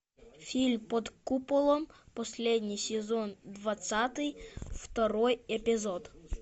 фильм под куполом последний сезон двадцатый второй эпизод